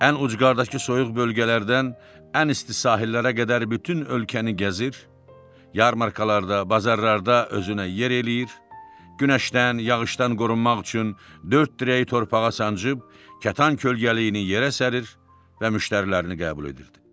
Ən ucqardakı soyuq bölgələrdən ən isti sahillərə qədər bütün ölkəni gəzir, yarmarkalarda, bazarlarda özünə yer eləyir, günəşdən, yağışdan qorunmaq üçün dörd dirəyi torpağa sancıb kətan kölgəliyini yerə sərir və müştərilərini qəbul edirdi.